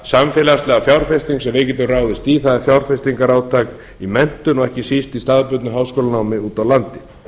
samfélagslega fjárfesting sem við getum ráðist í það er fjárfestingarátak í menntun og ekki síst í staðbundnu háskólanámi úti á landi